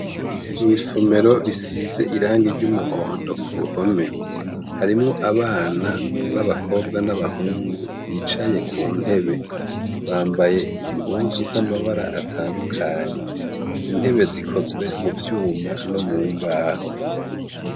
Mwisomero risize irangi ry' umuhondo kuruhome harimwo abana b' abakobwa n' abahungu bicaye ku ntebe bambaye impuzu z' amabara atandukanye intebe zikozwe muvyuma no mu mbaho.